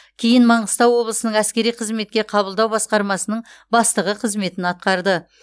кейін маңғыстау облысының әскери қызметке қабылдау басқармасының бастығы қызметін атқарды